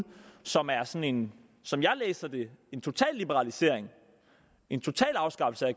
som er sådan som jeg læser det totalliberalisering en total afskaffelse af